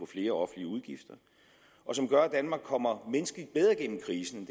flere offentlige udgifter og som gør at danmark kommer menneskeligt bedre igennem krisen